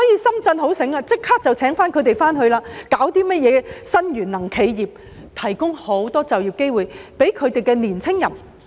深圳很聰明，立即聘請他們回去工作，推出新能源企業，並提供很多就業機會給青年人。